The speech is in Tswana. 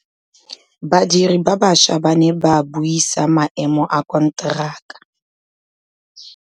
Badiri ba baša ba ne ba buisa maêmô a konteraka.